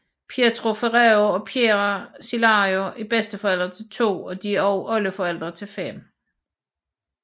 Pietro Ferrero og Piera Cillario er bedsteforældre til to og de er også oldeforældre til 5